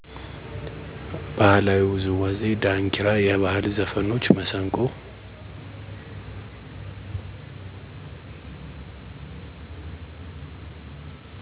ባህላዊ ዉዝዋዜ ዳንኪራ የባህል ዘፍኖች፣ መሰንቆ።